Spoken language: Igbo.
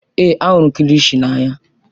Èé, ahụrụ m kilishi n'anya.